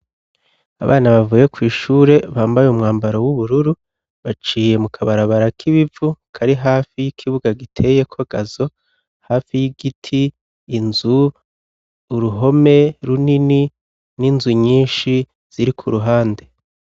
Abana bavuye kw' ishure bambaye umwambaro w'ubururu baciye mu kabarabara k'ibivu kari hafi y'ikibuga giteyeko gazo hafi y'igiti inzu uruhome runini n'inzu nyinshi ziri kuruhande